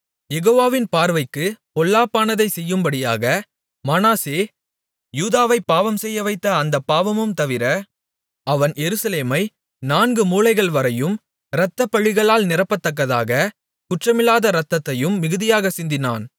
யெகோவாவின் பார்வைக்குப் பொல்லாப்பானதைச் செய்யும்படியாக மனாசே யூதாவைப் பாவம்செய்யவைத்த அந்தப் பாவமும் தவிர அவன் எருசலேமை நான்கு மூலைகள்வரையும் இரத்தப்பழிகளால் நிரப்பத்தக்கதாக குற்றமில்லாத இரத்தத்தையும் மிகுதியாகச் சிந்தினான்